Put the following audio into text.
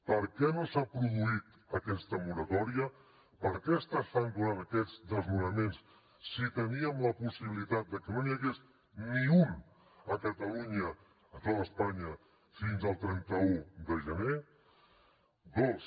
per què no s’ha produït aquesta moratòria per què s’estan donant aquests desnonaments si teníem la possibilitat de que no n’hi hagués ni un a catalunya a tota espanya fins al trenta un de gener dos